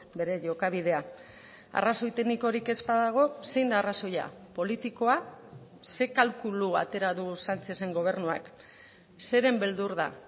bere jokabidea arrazoi teknikorik ez badago zein da arrazoia politikoa ze kalkulu atera du sánchezen gobernuak zeren beldur da